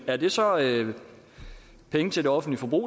er det så penge til det offentlige